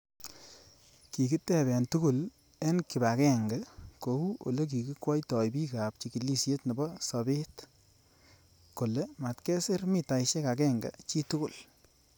Kikitebee tugul eng kibagenge kou olekinwoitoi bik ab chikilishet nebo sabet kole matkesir mitaishek agenge chitugul.